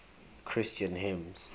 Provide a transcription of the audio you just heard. christian hymns